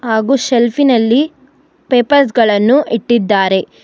ಹಾಗು ಸೆಲ್ಫಿ ನಲ್ಲಿ ಪೇಪರ್ಸ್ ಗಳನ್ನು ಇಟ್ಟಿದ್ದಾರೆ.